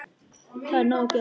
Það er nóg að gera.